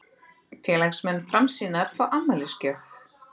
Félagsmenn Framsýnar fá afmælisgjöf